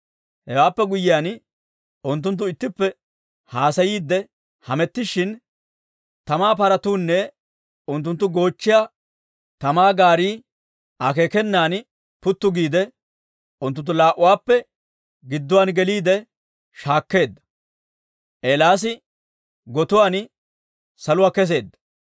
Hewaappe guyyiyaan, unttunttu ittippe haasayiiddi hamettishin, tamaa paratuunne unttunttu goochchiyaa tamaa gaarii akeekenan puttu giide, unttunttu laa"uwaappe gidduwaan geliide, shaakkeedda. Eelaasi gotiyaan saluwaa kesseedda.